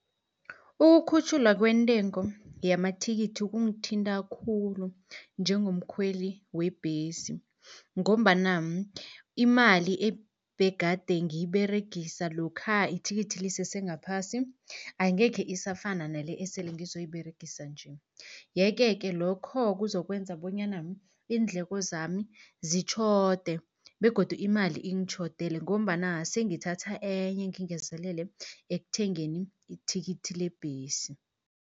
Ukukhutjhulwa kwentengo yamathikithi kungithinta khulu njengomkhweli webhesi, ngombana imali ebegade ngiyiberegisa lokha ithikithi lisese ngaphasi, angekhe isafana nale esele ngizoyiberegisa nje. Yeke-ke lokho kuzokwenza bonyana iindleko zami zitjhode begodu imali ingitjhodele, ngombana sengithatha enye ngingezelele ekuthengeni ithikithi lebhesi.